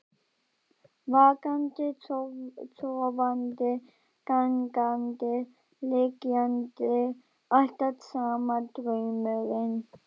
Vakandi, sofandi, gangandi, liggjandi, alltaf sami draumurinn.